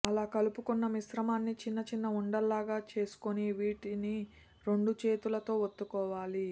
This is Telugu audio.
అలా కలుపుకున్నమిశ్రమాన్ని చిన్న చిన్న ఉండల్లాగా చేసుకుని వీటిని రెండు చేతులతో వత్తుకోవాలి